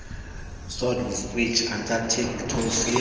swordfish antarctic toothfish